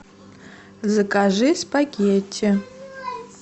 закажи спагетти